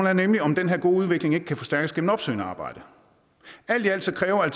er nemlig om den her gode udvikling ikke kan forstærkes gennem opsøgende arbejde alt i alt kræver